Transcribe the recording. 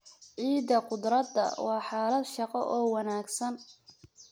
Ciidda khudradda waa xaalad shaqo oo wanaagsan.